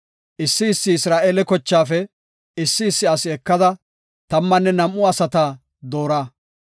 “Issi issi Isra7eele kochaafe issi issi asi ekada tammanne nam7u asata doora.